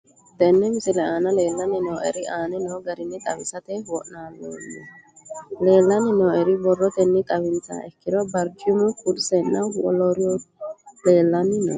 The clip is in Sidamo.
Tene misile aana leelanni nooerre aane noo garinni xawisate wonaaleemmo. Leelanni nooerre borrotenni xawisummoha ikkiro barcimubba kursenna wolooturi leelanni nooe.